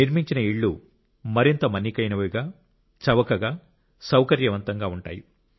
నిర్మించిన ఇళ్ళు మరింత మన్నికైనవిగా చవకగా సౌకర్యవంతంగా ఉంటాయి